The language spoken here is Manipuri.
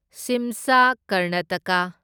ꯁꯤꯝꯁꯥ ꯀꯔꯅꯥꯇꯀꯥ